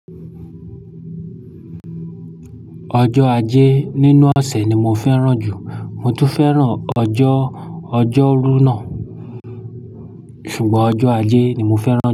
Ọjọ́ ajé nínú ọ̀sẹ̀ ni mo fẹ́ràn jù. Mo tún fẹ́ràn ọjọ́ ọjọ́rú náà. Ṣùgbọ́n ọjọ́ ajé ni mo fẹ́ràn.